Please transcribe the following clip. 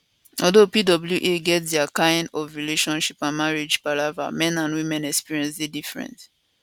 although pwa get dia kain of relationship and marriage palava men and women experience dey different